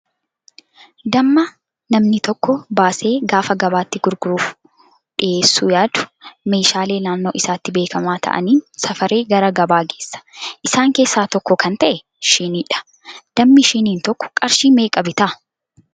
Damma namni tokko baasee gaafa gabaatti gurguruuf dhiyeessuu yaadu meeshaalee naannoo isaatti beekamaa ta'aniin safaree gara gabaa geessa. Isaan keessaa tokko kan ta'e shiiniidha. Dammi shiiniin tokko qarshii meeqa bitaa?